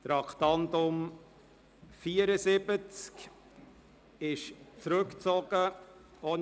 Das Traktandum 74 ist ohne Erklärung zurückgezogen worden.